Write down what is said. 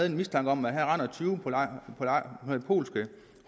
en mistanke om at her render tyve polske